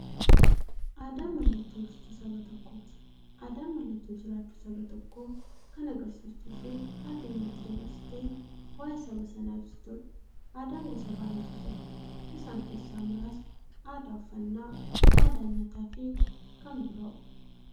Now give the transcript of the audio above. Aadaan mallattoo ibsituu saba tokkooti. Aadaan mallattoo jiraachuu saba tokkoo kan agarsiistuufi addunyaatti dabarsitee waa'ee saba sanaa ibsituudha. Aadaan gosa baay'eetu jira. Isaan keessaa muraasni aadaa, uffannaa aadaa nyaataafi kan biroo.